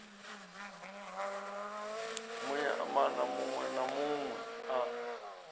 muimana munwe na munwe a